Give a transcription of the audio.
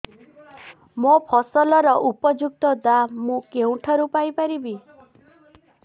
ମୋ ଫସଲର ଉପଯୁକ୍ତ ଦାମ୍ ମୁଁ କେଉଁଠାରୁ ପାଇ ପାରିବି